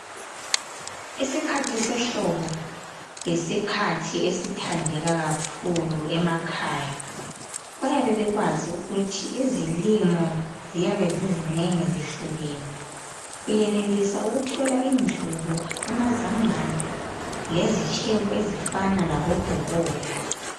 Isikhathi sehlobo yisikhathi esithandeka kakhulu emakhaya, bayabe bekwazi ukuthi izilimo ziyabe zizinengi zihlukene. Uyenelisa ukuthola indlubu amazambane lezitshebo ezifana labobhobola.